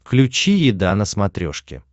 включи еда на смотрешке